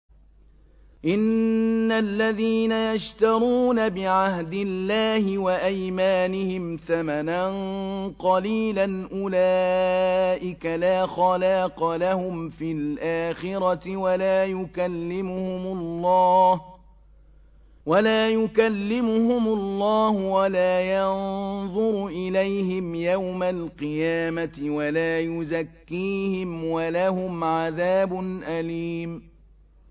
إِنَّ الَّذِينَ يَشْتَرُونَ بِعَهْدِ اللَّهِ وَأَيْمَانِهِمْ ثَمَنًا قَلِيلًا أُولَٰئِكَ لَا خَلَاقَ لَهُمْ فِي الْآخِرَةِ وَلَا يُكَلِّمُهُمُ اللَّهُ وَلَا يَنظُرُ إِلَيْهِمْ يَوْمَ الْقِيَامَةِ وَلَا يُزَكِّيهِمْ وَلَهُمْ عَذَابٌ أَلِيمٌ